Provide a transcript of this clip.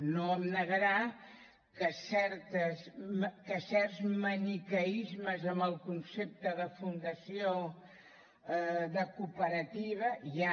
no em negarà que certs maniqueismes en el concepte de fundació de cooperativa hi ha